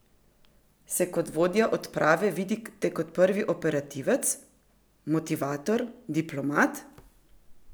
Se kot vodja odprave vidite kot prvi operativec, motivator, diplomat?